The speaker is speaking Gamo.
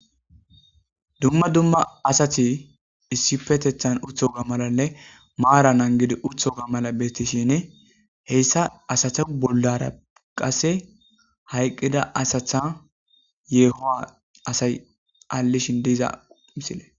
Dumma dumma asati issipetetan utoga malanne maranid utoga mala beetishn heysa asata bollara qase hayqida asata yeehuwa asay alishn diza misile.